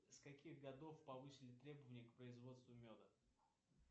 с каких годов повысили требования к производству меда